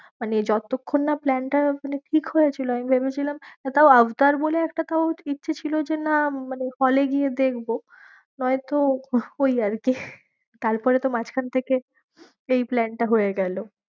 মানে যতক্ষণ না plan টা মানে ঠিক হয়েছিল আমি ভেবেছিলাম, আর তাও আফতার বলে একটা তাও ইচ্ছে ছিল যে না মানে hall এ গিয়ে দেখবো নয়তো ওই আর কি তারপরে তো মাঝখান থেকে এই plan টা হয়ে গেলো।